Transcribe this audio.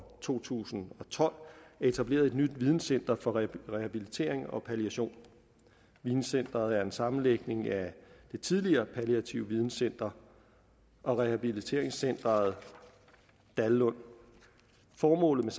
to tusind og tolv er etableret et nyt videncenter for rehabilitering og palliation videncenteret er en sammenlægning af det tidligere palliativt videncenter og rehabiliteringscenter dallund formålet